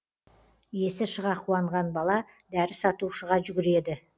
есі шыға қуанған бала дәрі сатушыға жүгіреді